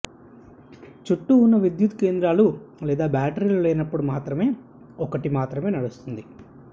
చుట్టూ ఉన్న విద్యుత్ కేంద్రాలు లేదా బ్యాటరీలు లేనప్పుడు మాత్రమే ఒకటి మాత్రమే నడుస్తుంది